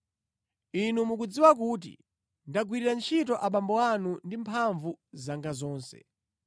Inu mukudziwa kuti ndagwirira ntchito abambo anu ndi mphamvu zanga zonse,